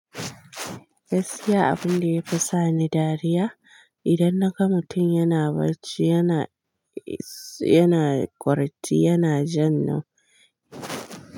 Gaskiya abun da ya fi sa ni dariya idan naga mutum yana barci, yana, yana ƙwarti, yana jan hannu.